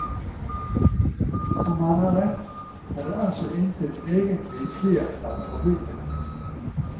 Om han har rett, er det altså intet egentlig flertall for bygget.